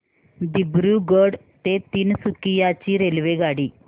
दिब्रुगढ ते तिनसुकिया ची रेल्वेगाडी